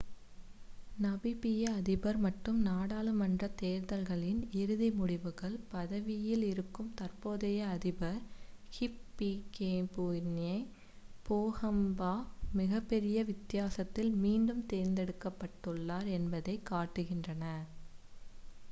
நமீபிய அதிபர் மற்றும் நாடாளுமன்றத் தேர்தல்களின் இறுதி முடிவுகள் பதவியில் இருக்கும் தற்போதைய அதிபர் ஹிஃபிகேபுன்யே போஹம்பா மிகப்பெரிய வித்தியாசத்தில் மீண்டும் தேர்ந்தெடுக்கப்பட்டுள்ளார் என்பதைக் காட்டுகின்றன